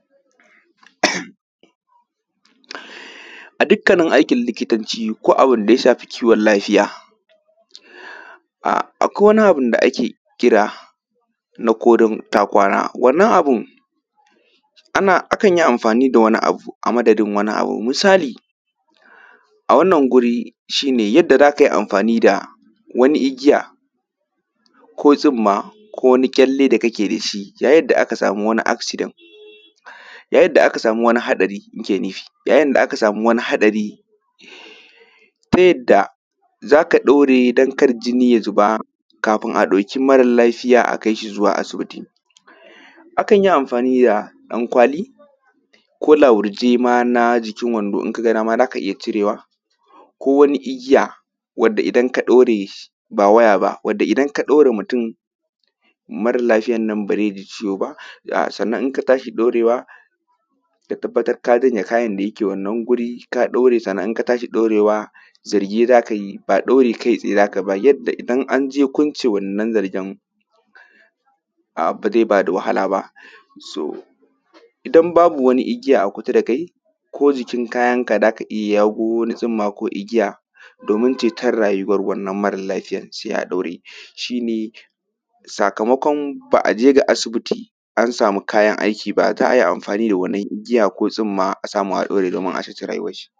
a dukkanin aikin likitanci koh abinda ya shafi kiwon lafiya um a kwai abubun da ake kira na korun ta kwana wannan abun ana akanyi anfani da wani abu a madadin wani abu a wannan guri shine yanda zaka amfani da wani igiya koh tsumma koh wani kyelle da kake dashi yayin da aka samu wani aksiden yayin da aka samu wani hatsari nike nufi yayin da aka samu wani hatsari ta yadda zaka daure dan kar jini ya zuba kafin a dauki mara lafiya zuwa asibiti a kan yi anfani da dan kwali koh lahurje na ma jikin wando in kaga dama zaka iya cirewa koh wani igiya wanda idan ka daure ba wayaba wanda idan ka daure mutun mara lafiyan nan ba zai ji ciwo ba sannan in ka tashi daure wa ka tabbatar ka janye kayan da yake wannan guri ka daure sannan in ka tashi daure wa zarge zaka yi ba daure kai tsaye zakai ba yanda idan anje kwance wannan zargen abu ba zai bada wahala ba so idan babu wani igiya a kusa da kai koh jikin kayanka zaka iya jago wani tsumma koh wani igiya domin ceto rayuwan wannan mara lafiyan sai a daure shine sakamokon ba aje ga asibiti an samu kayan aiki ba zaa ayi anfani da wannan igiya koh tsumma a daure a samu a ceci rayuwan shi.